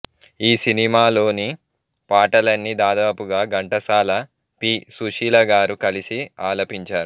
ఈ సినిమాలోని పాటలన్నీ దాదాపుగా ఘంటసాల పి సుశీల గారు కలిసి ఆలపించారు